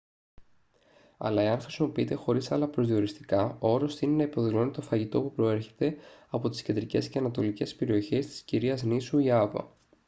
αλλά εάν χρησιμοποιείται χωρίς άλλα προσδιοριστικά ο όρος τείνει να υποδηλώνει το φαγητό που προέρχεται από τις κεντρικές και ανατολικές περιοχές της κυρίας νήσου ιάβα